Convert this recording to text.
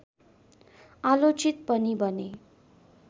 आलोचित पनि बने